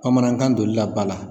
Bamanankan doli la ba la.